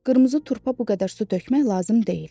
Qırmızı turpa bu qədər su tökmək lazım deyil.